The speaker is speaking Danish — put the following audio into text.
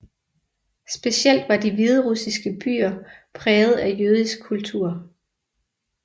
Specielt var de hviderussiske byer præget af jødisk kultur